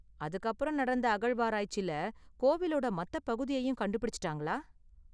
அதுக்கு அப்பறம் நடந்த அகழ்வாராய்ச்சில கோவிலோட மத்த பகுதியையும் கண்டுபிடிச்சுட்டாங்களா?